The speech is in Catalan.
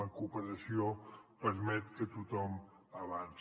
la cooperació permet que tothom avanci